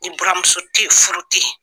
Ni buramuso tɛ yen furu tɛ yen.